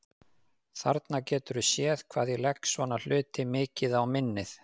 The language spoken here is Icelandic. Þarna geturðu séð hvað ég legg svona hluti mikið á minnið!